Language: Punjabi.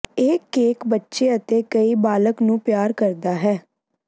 ਇਹ ਕੇਕ ਬੱਚੇ ਅਤੇ ਕਈ ਬਾਲਗ ਨੂੰ ਪਿਆਰ ਕਰਦਾ ਹੈ